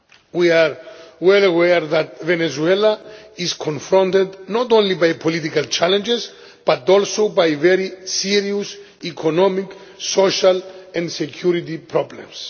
We are well aware that Venezuela is confronted not only by political challenges but also by very serious economic, social and security problems.